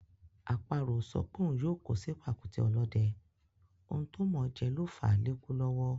Àparò ò sọ pé òun yóò kó sí pàkúté ọ̀lọ́dẹ, ohun tó mọ̀ọ́ jẹ ló fàá lékú lọ́wọ́.